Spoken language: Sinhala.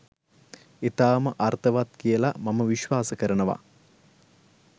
ඉතාම අර්ථවත් කියලා මම විශ්වාස කරනවා.